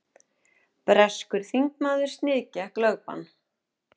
Breskur þingmaður sniðgekk lögbann